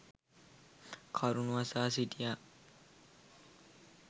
කරුණු අසා සිටියා.